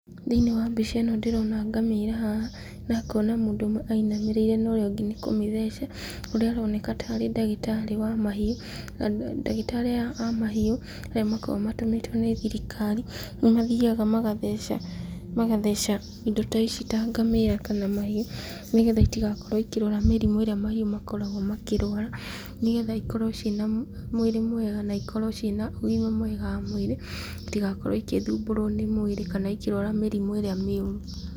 Thĩiniĩ wa mbica ĩno ndĩrona ngamĩra haha, na ngona mũndũ ũmwe ainamĩrĩire na ũrĩa ũngĩ nĩ kũmĩtheca , ũrĩa aroneka tarĩ ndagĩtarĩ wa mahiũ , na ndagĩtarĩ aya a mahiũ arĩa makoragwo matũmĩtwo nĩ thirikari, nĩ mathiaga magatheca, magatheca indo ici ta ngamĩra kana mahiũ, nĩgetha itigakorwo ikĩrwara mĩrimũ ĩrĩa mahiũ makoragwo makĩrwara, nĩgetha ikorwo ciĩna mwĩrĩ mwega na ikorwo ciĩna ũgima mwega wa mwĩrĩ , itigakorwo ikĩthũmbũrwo nĩ mwĩrĩ kana mĩrimũ iria mĩũru.